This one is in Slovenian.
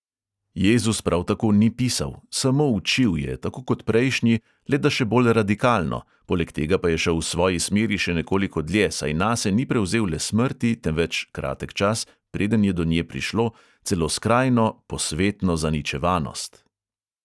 Jezus prav tako ni pisal; samo učil je, tako kot prejšnji, le da še bolj radikalno; poleg tega pa je šel v svoji smeri še nekoliko dlje, saj nase ni prevzel le smrti, temveč, kratek čas, preden je do nje prišlo, celo skrajno posvetno zaničevanost.